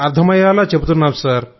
అర్థమయ్యేలా చెబుతున్నాం